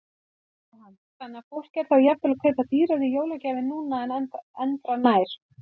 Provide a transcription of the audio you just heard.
Jóhann: Þannig að fólk er þá jafnvel að kaupa dýrari jólagjafir núna en endranær?